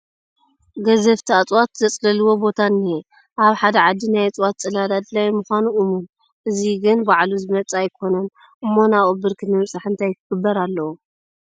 ገዘፍቲ እፅዋት ዘፅለልዎ ቦታ እኒሀ፡፡ ኣብ ሓደ ዓዲ ናይ እፅዋት ፅላል ኣድላዪ ምዃኑ እሙን፡፡ እዚ ግን ባዕሉ ዝመፅእ ኣይኮነን እሞ ናብኡ ብርኪ ንምብፃሕ እንታይ ክግበር ኣለዎ?